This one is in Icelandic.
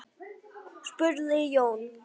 spurði Jón.